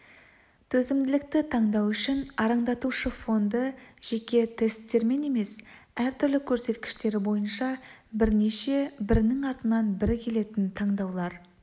төзімділікті таңдау үшін арандатушы фонды жеке тесттермен емес әр түрлі көрсеткіштері бойынша бірнеше бірінің артынан бірі келетін таңдаулар